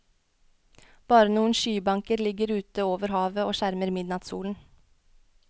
Bare noen skybanker ligger ute over havet og skjermer midnattssolen.